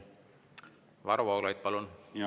Varro Vooglaid, palun!